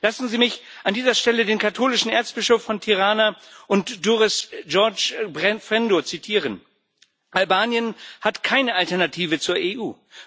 Lassen Sie mich an dieser Stelle den katholischen Erzbischof von Tirana und Durres, George Frendo, zitieren Albanien hat keine Alternative zur EU.